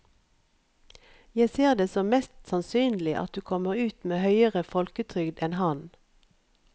Jeg ser det som mest sannsynlig at du kommer ut med høyere folketrygd enn han.